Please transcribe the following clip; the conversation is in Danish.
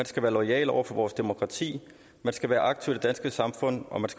skal være loyal over for vores demokrati man skal være aktiv i det danske samfund